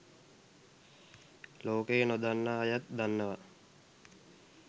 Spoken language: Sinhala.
ලෝකයේ නොදන්නා අයත් දන්නවා.